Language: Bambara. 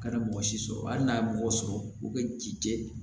U kana mɔgɔ si sɔrɔ hali n'a ye mɔgɔ sɔrɔ u bɛ ci kɛ